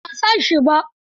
A'a ban san shi ba.